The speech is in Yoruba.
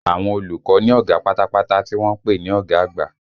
Àwọn olùkọ́ ní ọ̀gá pátápátá tí wọ́n ń pè ní ọ̀gá àgbà